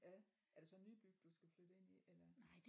Ja er det så nybyg du skal flytte ind i eller